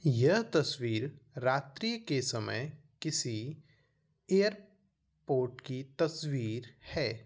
यह तस्वीर रात्रि के समय किसी एयरपोर्ट की तस्वीर है।